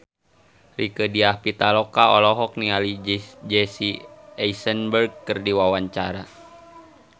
Rieke Diah Pitaloka olohok ningali Jesse Eisenberg keur diwawancara